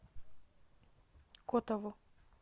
котову